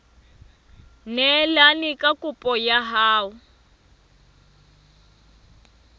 neelane ka kopo ya hao